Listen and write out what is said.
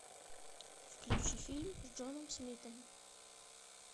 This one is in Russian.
включи фильм с джоном смитом